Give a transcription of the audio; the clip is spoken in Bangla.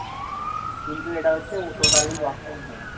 কিন্তু এটা হচ্ছে totally work from home